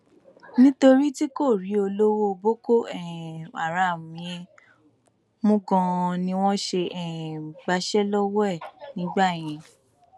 nítorí tí kò rí olórí boko um haram yẹn mú ganan ni wọn ṣe um gbàṣẹ lọwọ ẹ nígbà yẹn